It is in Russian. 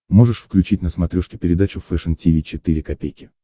можешь включить на смотрешке передачу фэшн ти ви четыре ка